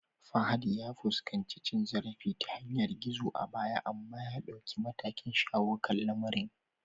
Fahad ya fuskanci cin zarafi ta yanar gizo a baya amma ya dauki matakin shawo kan lamarin